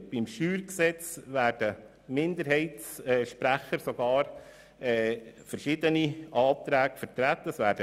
Beim StG werden Minderheitssprecher sogar verschiedene Anträge vertreten.